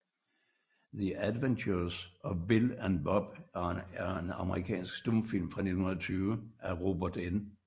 The Adventures of Bill and Bob er en amerikansk stumfilm fra 1920 af Robert N